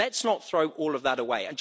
Let's not throw all of that away.